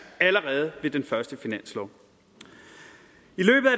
allerede ved den første finanslov